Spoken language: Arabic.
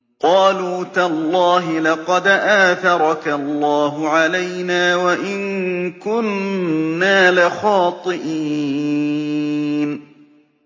قَالُوا تَاللَّهِ لَقَدْ آثَرَكَ اللَّهُ عَلَيْنَا وَإِن كُنَّا لَخَاطِئِينَ